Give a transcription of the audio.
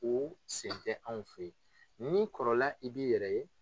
O sen tɛ anw fɛ yen n'i kɔrɔla i b'i yɛrɛ ye